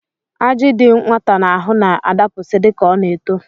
Ajị dị nwata n'ahụ na-adapụsị dịka ọ na-eto